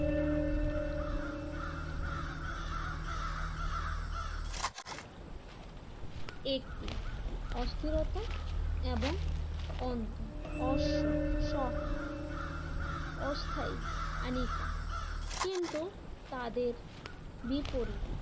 একটি অস্থিরতা এবং অন্ত অশ্ব সহ অস্থায়ী আনিকা কিন্তু তাদের বিপরীত